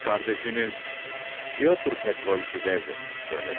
Qız qardaşınız Pyotr Petroviçi evlənirmiş, eləmi?